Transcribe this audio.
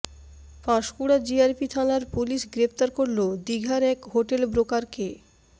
Panskura GRP থানার পুলিশ গ্রেফতার করল দিঘার এক হোটেল ব্রোকারকে